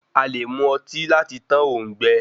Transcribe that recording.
A lè mu ọtí lati tán òùngbẹ.